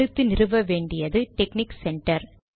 அடுத்து நிறுவ வேண்டியது டெக்னிக் சென்டர்